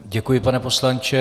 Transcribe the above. Děkuji, pane poslanče.